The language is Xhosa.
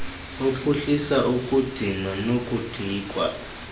ophuhlisa ukudinwa nokudikwa